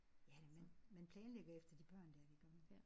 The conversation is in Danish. Ja man man planlægger efter de børn der det gør man